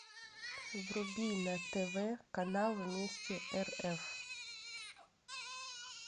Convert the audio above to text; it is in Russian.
вруби на тв канал вместе рф